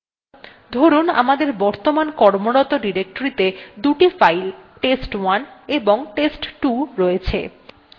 ধরুন আমাদের বর্তমান কর্মরত ডিরেক্টরীতে দুটো files test1 এবং test2 রয়েছে